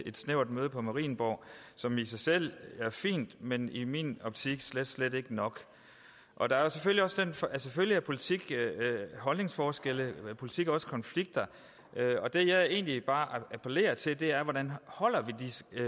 et snævert møde på marienborg som i sig selv er fint men som i min optik slet slet ikke nok selvfølgelig er politik holdningsforskelle men politik er også konflikter det jeg egentlig bare appellerer til er hvordan